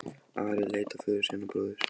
Ari leit á föður sinn og bróður.